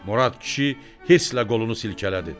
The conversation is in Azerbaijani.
Murad kişi hirslə qolunu silkələdi.